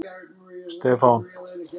Stefán